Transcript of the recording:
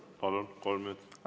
Palun, kolm minutit!